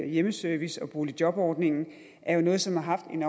hjemmeservice og boligjobordningen er jo noget som har haft en